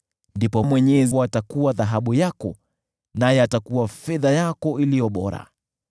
ndipo Mwenyezi atakuwa dhahabu yako, naye atakuwa fedha yako iliyo bora.